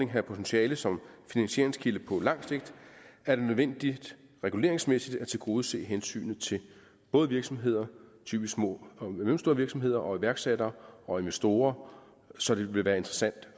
have potentiale som finansieringskilde på lang sigt er det nødvendigt reguleringsmæssigt at tilgodese hensynet til både virksomheder typisk små og mellemstore virksomheder og iværksættere og investorer så det vil være interessant